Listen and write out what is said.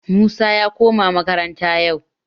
Musa ya koma makaranta yau